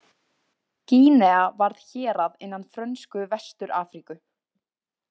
Gínea varð hérað innan Frönsku Vestur-Afríku.